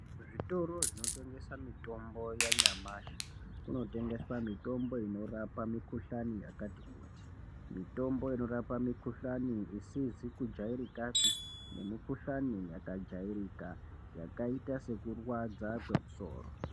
Zvitoro zvinotongesa mitombo yanyamashi kunotengeswa mitombo inorapa mikuhlani yakati kuti mitombo inorapa mikuhlani isizi kujairikapi nemukuhlani yakajairika yakaita sekurwadza kwemusoro.